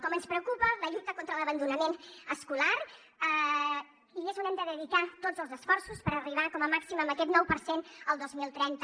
com ens preocupa la lluita contra l’abandonament escolar i és on hem de dedicar tots els esforços per arribar com a màxim amb aquest nou per cent al dos mil trenta